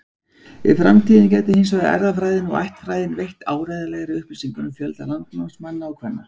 Í framtíðinni gætu hins vegar erfðafræðin og ættfræðin veitt áreiðanlegri upplýsingar um fjölda landnámsmanna og-kvenna.